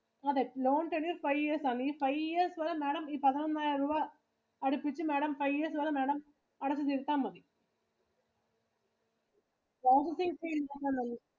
അതെ loan tenure five years ആണ് ഈ five yearsMadam ഈ പതിനൊന്നായിരം രുപ അടച്ചിട്ടു Madam five years വരെ madam അടഞ്ഞു തീർത്താ മതി. processing fee